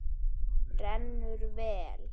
Rennur vel.